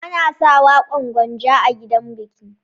Ana saka waƙan Gwanja a gidajan biki.